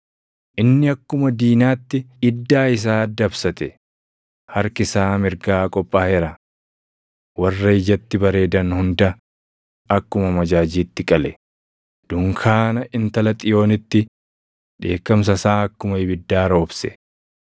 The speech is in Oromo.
Inni akkuma diinaatti iddaa isaa dabsate; harki isaa mirgaa qophaaʼeera. Warra ijatti bareedan hunda akkuma amajaajiitti qale; dunkaana intala Xiyoonitti dheekkamsa isaa akkuma ibiddaa roobse.